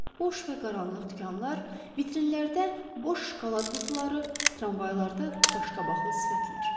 Boş və qaranlıq dükanlar, vitrinlərdə boş şokolad qutuları, tramvaylarda qaşqabaqlı sifətlər.